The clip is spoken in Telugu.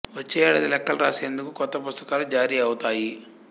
వచ్చే ఏడాది లెక్కలు రాసేందుకు కొత్త పుస్తకాలు జారీ అవుతాయి